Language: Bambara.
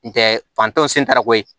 N tɛ fantɔ sentarakoye